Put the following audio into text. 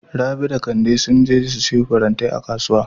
Rabi da Kande sun je su siyo farantai a Kasuwa.